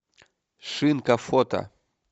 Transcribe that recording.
шинка фото